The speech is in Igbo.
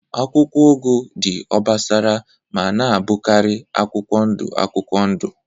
Akwụkwọ ugu dị obosara ma na-abụkarị akwụkwọ ndụ akwụkwọ ndụ